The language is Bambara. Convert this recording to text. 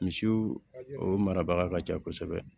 Misiw o marabaga ka ca kosɛbɛ